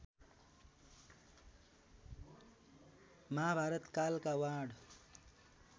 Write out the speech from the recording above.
महाभारत कालका वाण